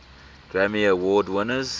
grammy award winners